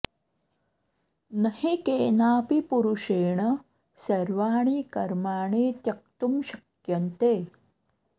न हि केनापि पुरुषेण सर्वाणि कर्माणि त्यक्तुं शक्यन्ते